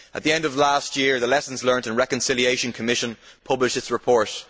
At the end of last year the Lessons Learnt and Reconciliation Commission published its report.